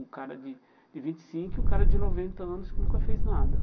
O cara de de vinte e cinco e o cara de noventa anos que nunca fez nada.